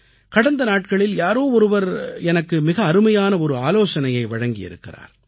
கடந்த நாட்களில் யாரோ ஒருவர் எனக்கு மிக அருமையான ஒரு ஆலோசனையை வழங்கியிருக்கிறார்